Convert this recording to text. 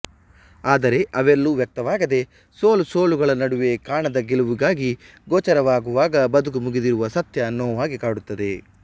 ಆದರೆ ಅವೆಲ್ಲೂ ವ್ಯಕ್ತವಾಗದೆ ಸೋಲು ಸೋಲುಗಳ ನಡುವೆ ಕಾಣದ ಗೆಲುವಾಗಿ ಗೋಚರವಾಗುವಾಗ ಬದುಕು ಮುಗಿದಿರುವ ಸತ್ಯ ನೋವಾಗಿ ಕಾಡುತ್ತದೆ